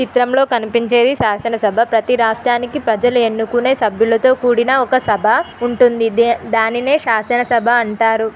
ఈ చిత్రంలో కనిపించేది శాసనసభ ప్రతి రాష్ట్రానికి ప్రజలు ఎన్నుకునే సభ్యులతో కూడిన ఒక సభ ఉంటుంది దానినే శాసనసభ అంటారు